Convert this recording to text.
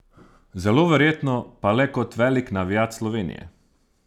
Zelo verjetno pa le kot velik navijač Slovenije.